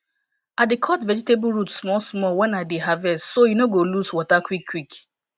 i dey cut vegetable root small small when i dey harvest so e no go lose water quick quick